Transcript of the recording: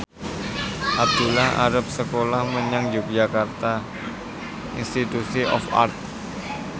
Abdullah arep sekolah menyang Yogyakarta Institute of Art